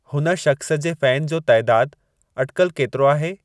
हुन शख़्स जे फैन जो तइदादु अटिकल केतिरो आहे